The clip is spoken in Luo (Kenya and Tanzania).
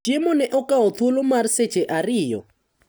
Chiemo ne okawo thuolo mar seche ariyo.